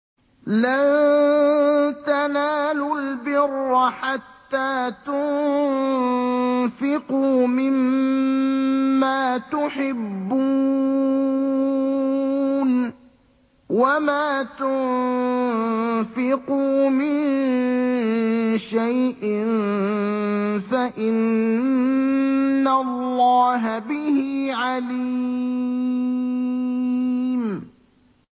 لَن تَنَالُوا الْبِرَّ حَتَّىٰ تُنفِقُوا مِمَّا تُحِبُّونَ ۚ وَمَا تُنفِقُوا مِن شَيْءٍ فَإِنَّ اللَّهَ بِهِ عَلِيمٌ